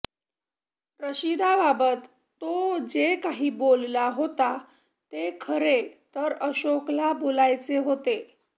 रशिदाबाबत तो जे काही बोलला होता ते खरे तर अशोकला बोलायचे होते